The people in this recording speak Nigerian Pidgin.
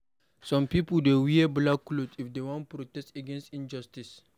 Some pipo dey wear black cloth if dem wan protest against injustice.